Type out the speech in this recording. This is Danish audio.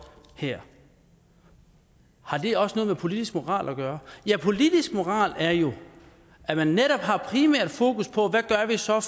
her har det også noget med politisk moral at gøre politisk moral er jo at man netop har primært fokus på hvad vi så